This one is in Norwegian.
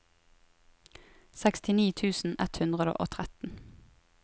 sekstini tusen ett hundre og tretten